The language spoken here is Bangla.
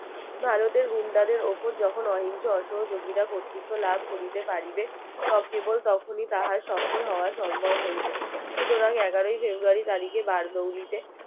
ভারতে গুণ্ডাদের উপর যখন অহিংস অসহযোগিতা কর্তৃত্ব লাভ করিতে পারিবে কেবল তখনই তাহার সফল হওয়া সম্ভব হইবে সুতরাং এগারোয় ফেব্রুয়ারি তারিখে বারদৌলিতে